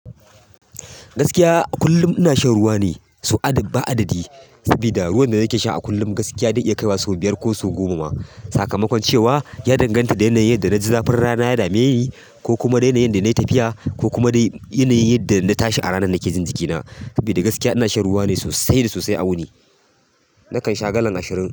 Gaskiya a kullum ina shan ruwa ne sau ba adadi. Sabida ruwan da nake sha a kullum gaskiya zai iya kai wa sau biyar ko sau goma. Sakamakon cewa ya danganta da yanayin yadda naji zafin rana ya dameni, ko kuma yanayi. Yadda nayi tafiya ko kuma dai yanayin yadda na tashi a ranar saboda gaskiya ina shan ruwa ne sosai da sosai a wuni. Nakan sha galan ashirin.